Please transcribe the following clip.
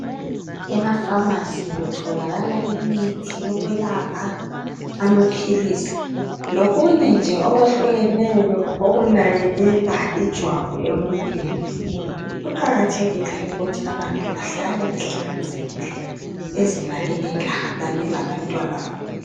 Emafasi kutholakala imithi eyokwelapha, lamaphilisi. Lokunyenje okuhlukeneyo. Okunakekela ijwabu emuntwini. Kuqakathekile ukuthi abantu behlale behlanzekile bezinakekela, kanye labantwa babo